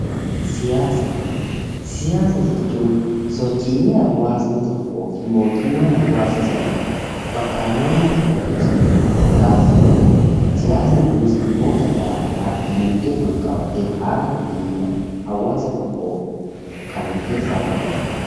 Siyaasa: Siyaasa jechuun sochiilee hawwaasa tokkoo fi mootummaan hawwaasa sanaa bakka naannoo tokko keessatti waliin taasisanidha. Siyaasni ku is dhimmoora gara garaa diinagdeen wal qabatee haala nageenyaa hawwaasa tokmoo kan of keessatti qabatudha.